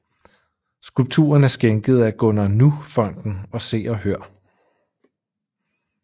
Skulpturen er skænket af Gunnar Nu Fonden og Se og Hør